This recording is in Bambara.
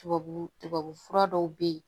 Tubabu tubabu fura dɔw bɛ yen